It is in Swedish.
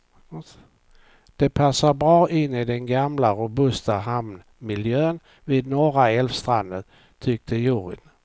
Det passar bra in i den gamla robusta hamnmiljön vid norra älvstranden, tyckte juryn.